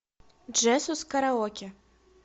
джесус караоке